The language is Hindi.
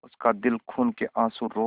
उसका दिल खून केआँसू रो रहा था